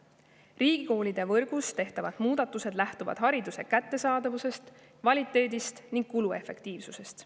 Riigikoolide võrgus tehtavad muudatused lähtuvad hariduse kättesaadavusest, kvaliteedist ning kuluefektiivsusest.